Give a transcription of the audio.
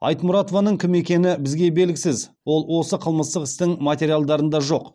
айтмұратованың кім екені бізге белгісіз ол осы қылмыстық істің материалдарында жоқ